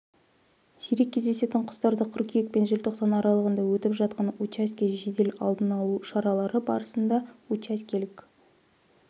сирек кездесетін құстарды қыркүйек пен желтоқсан аралығында өтіп жатқан учаске жедел алдын алу шаралары барысында учаскелік